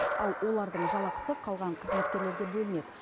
ал олардың жалақысы қалған қызметкерлерге бөлінеді